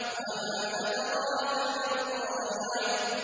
وَمَا أَدْرَاكَ مَا الْقَارِعَةُ